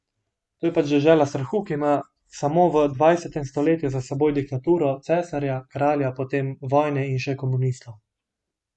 To je pač dežela strahu, ki ima samo v dvajsetem stoletju za seboj diktaturo cesarja, kralja, potem vojne in še komunistov.